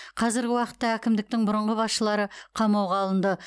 қазіргі уақытта әкімдіктің бұрынғы басшылары қамауға алынды